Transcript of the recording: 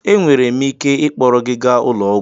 Ee, enwere m ike ịkpọrọ gị gaa ụlọ ọgwụ